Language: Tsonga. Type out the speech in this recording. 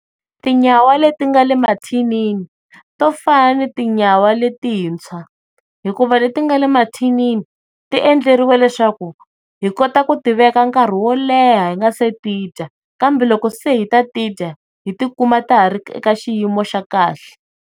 Tinyawa leti nga le mathinini to fane ni tinyawa le tintshwa hikuva letingale mathinini ti endleriwa leswaku hikota ku tiveka nkarhi wo leha hi nga se ti dya kambe loko se hi lava ku ti dya hi ti kuma ta ha ri ka xiyimo xa kahle.